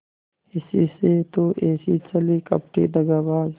इसी से तो ऐसी छली कपटी दगाबाज